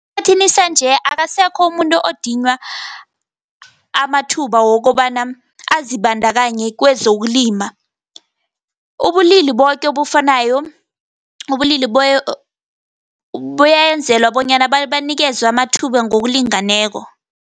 Esikhathini sanje, akasekho umuntu odinywa amathuba wokobana azibandakanye kwezokulima. Ubulili boke obufanako, ubulili buyenzelwa bonyana banikezwe amathuba ngokulingeneko.